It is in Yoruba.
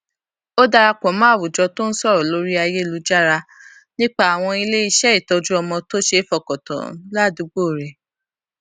ó dara pò mó àwùjọ tó n sọrọ lórí ayélujára nípa àwọn iléiṣẹ ìtójú ọmọ tó ṣeé fọkàntán ládùúgbò rè